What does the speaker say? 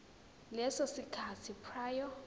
leso sikhathi prior